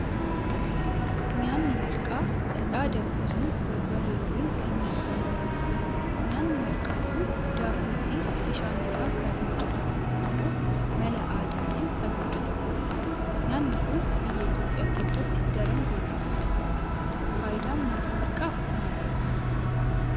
Nyaanni Marqaa dhadhaa danfisuun barbaree waliin kan nyaatamudha. Nyaanni marqaa kun daakuu fi bishaan irraa kan hojjetamu yoo ta'u mala aadaatiin kan hojjetamudha. Nyaanni kun biyya Itoophiyaa keessatti daraan beekkamaadha. Faayidaan nyaata marqaa maali?